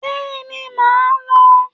Bẹ́ẹ̀ni màá lò ó